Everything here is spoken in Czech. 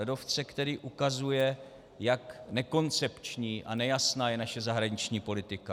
Ledovce, který ukazuje, jak nekoncepční a nejasná je naše zahraniční politika.